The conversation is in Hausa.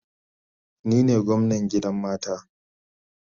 Ni ne gwamnan gidan mata